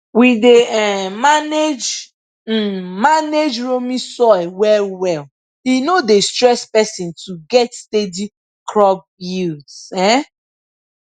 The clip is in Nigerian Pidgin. we dey um manage um manage loamy soil well well e no dey stress person to get steady crop yields um